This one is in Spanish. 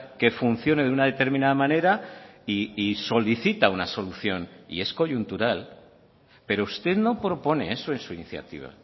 que funcione de una determinada manera y solicita una solución y es coyuntural pero usted no propone eso en su iniciativa